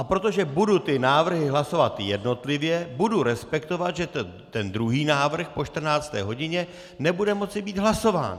A protože budu ty návrhy hlasovat jednotlivě, budu respektovat, že ten druhý návrh po 14. hodině nebude moci být hlasován.